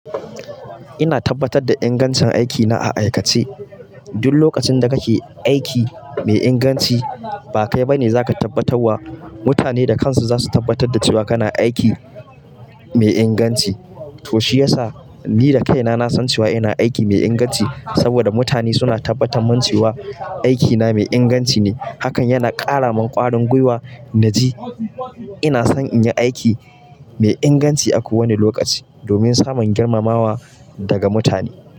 Ina tabbatar da ingancin aikina a aikace. Duk lokacin da kake aiki mai inganci, ba kai ba ne za ka tabbatar wa. Mutane da kansu za su tabbatar da cewa kana aiki mai inganci. To shi yasa ni da kaina na san cewa ina aiki mai inganci saboda mutane suna tabbatar min cewa aikina mai inganci ne. Hakan yana ƙara min ƙwarin gwiwa naji. Ina son in yi aiki mai inganci a kowane lokaci domin samun girmamawa daga mutane.